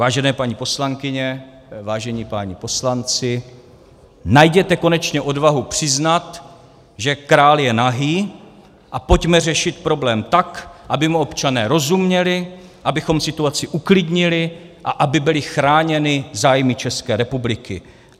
Vážené paní poslankyně, vážení páni poslanci, najděte konečně odvahu přiznat, že král je nahý, a pojďme řešit problém tak, aby mu občané rozuměli, abychom situaci uklidnili a aby byly chráněny zájmy České republiky.